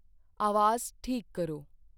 ਆਵਾਜ਼ ਠੀਕ ਕਰੋ।